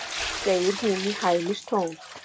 segir hún í hæðnistón.